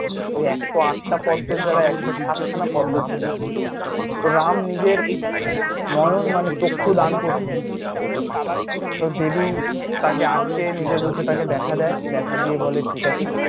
এই একশ’ আটটা পদ্মোর জায়গায় একশ’ সাতখানা পদ্মো ছিল, তো রাম নিজের নয়ন মানে চক্ষু দান করছিল তো দেবী তাকে আটকে নিজের ভেতর তাকে দেখা দেয়, দেখা দিয়ে বলে ঠিক আছে।